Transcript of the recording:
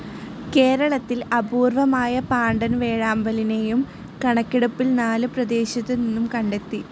കേരളത്തിൽ അപൂർവമായ പാണ്ടൻ വേഴാമ്പലിനെയും കണക്കെടുപ്പിൽ നാല് പ്രദേശത്തു നിന്നും കണ്ടെത്തി.